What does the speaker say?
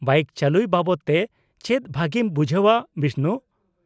-ᱵᱟᱹᱭᱤᱠ ᱪᱟᱹᱞᱩᱭ ᱵᱟᱵᱚᱫ ᱛᱮ ᱪᱮᱫ ᱵᱷᱟᱹᱜᱤᱢ ᱵᱩᱡᱷᱟᱹᱣᱟ ᱵᱤᱥᱱᱩ ?